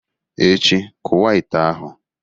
echi, kuwa ite ahu!